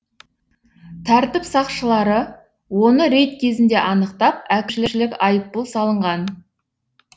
тәртіп сақшылары оны рейд кезінде анықтап әкім айыппұл салынған